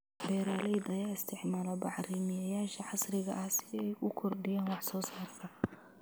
Beeralayda ayaa isticmaala bacrimiyeyaasha casriga ah si ay u kordhiyaan wax soo saarka.